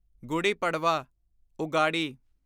Guddi Padwa Ugadi